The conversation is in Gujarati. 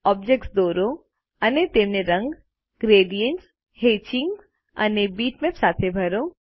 ઓબ્જેક્ત્સ દોરો અને તેમને રંગ ગ્રેડિએન્ટ્સ હેત્ચિંગ અને બીટમેપ સાથે ભરો